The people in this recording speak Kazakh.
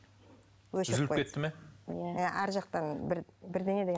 үзіліп кетті ме иә арғы жақтан бір бірдеңе деген